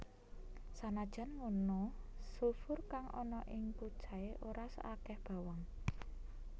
Sanajan ngono sulfur kang ana ing kucai ora saakeh bawang